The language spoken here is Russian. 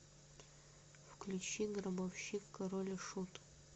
включи гробовщик король и шут